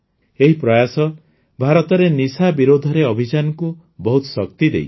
ଏହି ପ୍ରୟାସ ଭାରତରେ ନିଶା ବିରୋଧରେ ଅଭିଯାନକୁ ବହୁତ ଶକ୍ତି ଦେଇଛି